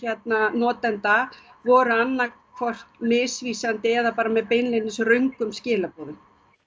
notenda voru annað hvort misvísandi eða með röngum skilaboðum